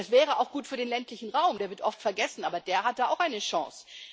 Es wäre auch gut für den ländlichen Raum, der wird oft vergessen, aber der hat da auch eine Chance.